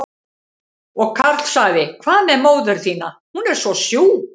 Og Karl sagði, hvað með móður þína, hún er svo sjúk?